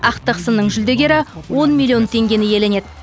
ақтық сынның жүлдегері он миллион теңгені иеленеді